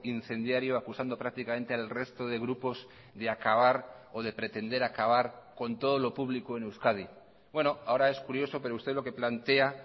incendiario acusando prácticamente al resto de grupos de acabar o de pretender acabar con todo lo público en euskadi ahora es curioso pero usted lo que plantea